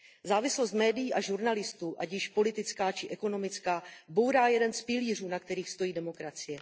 Závislost médií a žurnalistů, ať již politická či ekonomická, bourá jeden z pilířů, na kterých stojí demokracie.